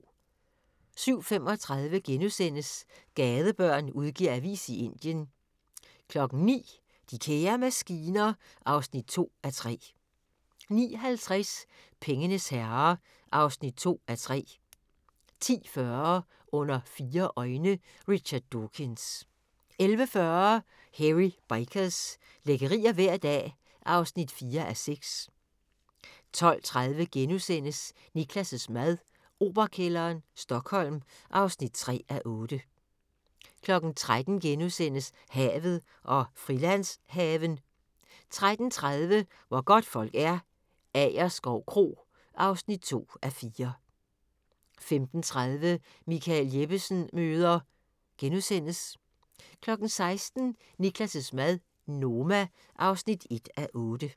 07:35: Gadebørn udgiver avis i Indien * 09:00: De kære maskiner (2:3) 09:50: Pengenes herrer (2:3) 10:40: Under fire øjne – Richard Dawkins 11:40: Hairy Bikers – lækkerier hver dag (4:6) 12:30: Niklas' mad - Operakælderen, Stockholm (3:8)* 13:00: Havet og Frilandshaven * 13:30: Hvor godtfolk er - Agerskov Kro (2:4) 15:30: Michael Jeppesen møder... * 16:00: Niklas' mad - Noma (1:8)